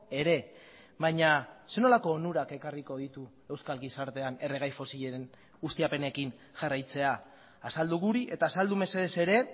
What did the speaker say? ere baina zer nolako onurak ekarriko ditu euskal gizartean erregai fosilen ustiapenekin jarraitzea azaldu guri eta azaldu mesedez ere